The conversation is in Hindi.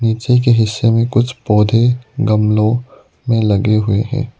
पीछे के हिस्से में कुछ पौधे गमलों में लगे हुए हैं।